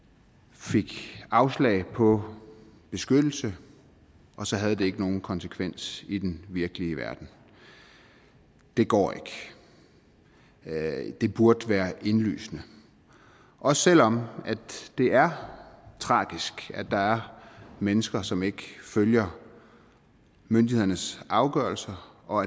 fik afslag på beskyttelse og så havde det ikke nogen konsekvens i den virkelige verden det går ikke det burde være indlysende også selv om det er tragisk at der er mennesker som ikke følger myndighedernes afgørelser og